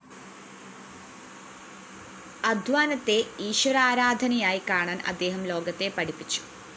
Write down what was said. അധ്വാനത്തെ ഈശ്വരാരാധനയായി കാണാന്‍ അദ്ദേഹം ലോകത്തെ പഠിപ്പിച്ചു